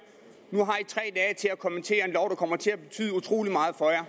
at til at kommentere en lov der kommer til at betyde utrolig meget for